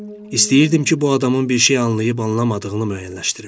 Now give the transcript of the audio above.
İstəyirdim ki, bu adamın bir şey anlayıb anlamadığını müəyyənləşdirim.